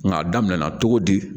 Nka a daminɛ na cogo di